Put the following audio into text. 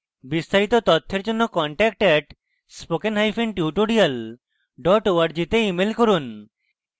বিস্তারিত তথ্যের জন্য contact at spokentutorial org তে ইমেল করুন